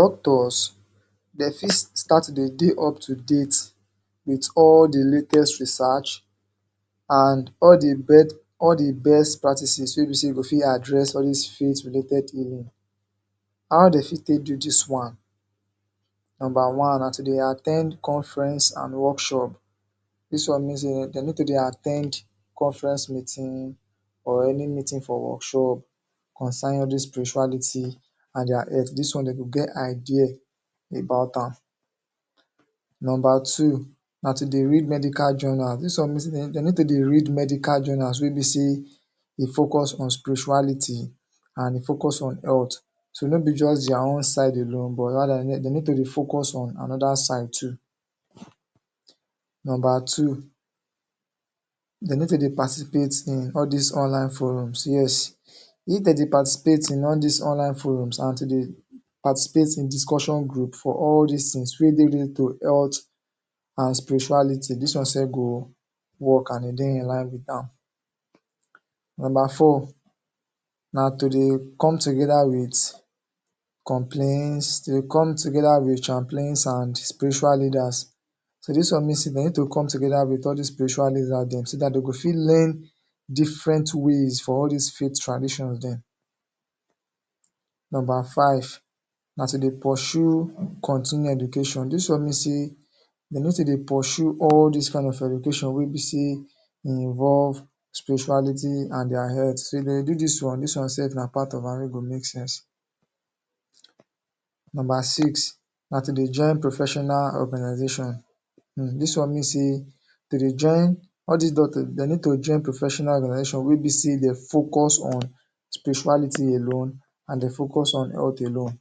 Doctors dey fit sta-rt to dey up to date wit all the latest research and all the bes.. all the best practices wey be say you go fit address all this related healing. How dey fit take do dis one? Number one, na to dey at ten d conference and workshop.. Dis one mean say dey need to dey at ten d conference meeting or any meeting for workshop concerning all dis spirituality and their health Dis one dey go get idea about am. Number two, na to dey read medical journal. Dis one mean say dey need to dey read medical journals wey be e focus on spirituality and e focus on health. So no be just their own side alone but rather dey need to dey focus on another side too. Number two, dey need to dey participate in all dis online forums, yes, if dem dey participate in all dis online forums and to dey participate in discussion group for all dis things wey dey link to health and spirituality dis one sef go work and im life wit am. Number four, na to dey come together wit complains, dey come together wit chaplains and spiritual leaders. So dis one mean say dey go come together wit all dis spiritual leaders dem, so dat dem go fit learn different ways for all dis faith tradition dem. Number five, na to dey pursue continue education. This one mean say dey need to dey pursue all dis kain of education wey be say e involve spirituality and their health. So if dey do dis one, dis one sef na part of am wey go make sense. Number six, na to dey join professional organization. um Dis one mean say to dey join all dis doctors, dey need to join professional organization wey be say dey focus on spirituality alone focus on health alone.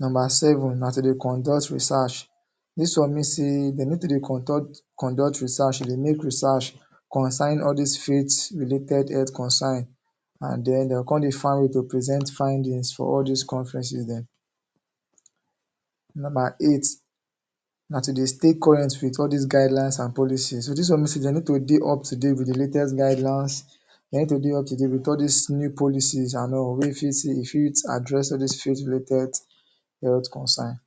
Number seven, na to dey conduct research. Dis one mean say dey need to dey conduct, conduct research, dey make research concerning all dis faith related health concern and den, dey come dey find way to present findings for all dis conferences dem. Number eight, na to dey stay current wit all dis guidelines and policies. So dis one mean say dey need to dey up to date wit the latest guidelines, dey need to dey up to date with all dis new policies and all wey fit see, e fit address all dis field related health concern.